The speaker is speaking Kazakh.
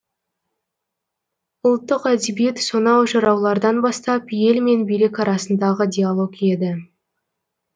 ұлттық әдебиет сонау жыраулардан бастап ел мен билік арасындағы диалог еді